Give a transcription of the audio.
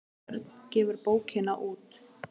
Örn gefur bókina út.